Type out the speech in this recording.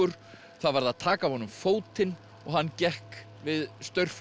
það varð að taka af honum fótinn og hann gekk við